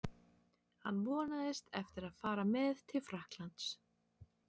Hann vonast eftir að fara með til Frakklands.